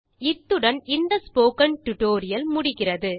இத்துடன் இந்த spoken tutorial முடிகிறது